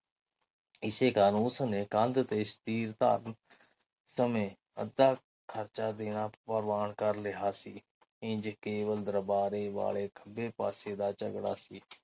ਇਸੇ ਕਾਰਨ ਉਸਨੇ ਕੰਧ ਤੇ ਛਤੀਰ ਧਾਰਨ ਸਮੇ ਅੱਧਾ ਖਰਚਾ ਦੇਣਾ ਪ੍ਰਵਾਨ ਕਰ ਲਿਆ ਸੀ। ਇੰਝ ਕੇਵਲ ਦਰਬਾਰੇ ਵਾਲੇ ਖੱਬੇ ਪਾਸੇ ਦਾ ਝਗੜਾ ਸੀ।